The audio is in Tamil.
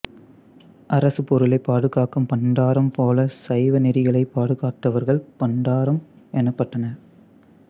அரசுப் பொருளைப் பாதுகாக்கும் பண்டாரம் போலச் சைவநெறிகளைப் பாதுகாத்தவர்கள் பண்டாரம் எனப்பட்டனர்